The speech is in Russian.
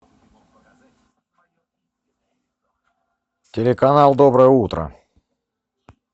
телеканал доброе утро